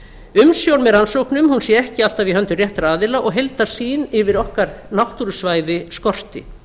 umsjón með rannsóknum sé ekki alltaf í höndum réttra aðila og heildarsýn yfir okkar náttúrusvæði skorti